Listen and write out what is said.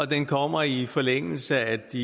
den kommer i forlængelse af de